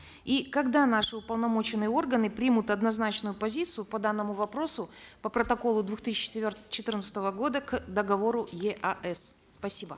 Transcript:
и когда наши уполномоченные органы примут однозначную позицию по данному вопросу по протоколу двух тысячи четырнадцатого года к договору еаэс спасибо